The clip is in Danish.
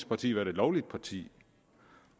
parti været et lovligt parti